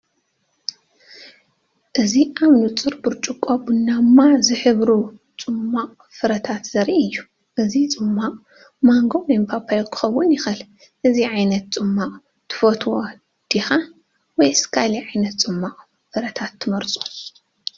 እዚ ኣብ ንጹር ብርጭቆ ቡናዊ ዝሕብሩ ጽማቝ ፍረታት ዘርኢ እዩ። እዚ ጽማቝ ማንጎ ወይ ፓፓዮ ክኸውን ይኽእል። እዚ ዓይነት ጽማቝ ትፈትዎ ዲኻ? ወይስ ካልእ ዓይነት ጽማቝ ፍረታት ትመርጹ?